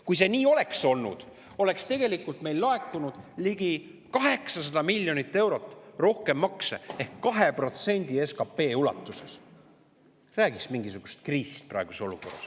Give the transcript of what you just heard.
Kui see nii oleks olnud, oleks meil laekunud makse rohkem ligi 800 miljonit eurot ehk 2% ulatuses SKP‑st. Räägi siis mingisugusest kriisist praeguses olukorras.